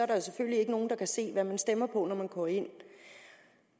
der selvfølgelig ikke nogen der kan se hvad man stemmer på når man går ind